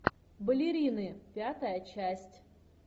балерины пятая часть